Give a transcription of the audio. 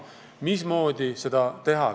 Mismoodi seda teha?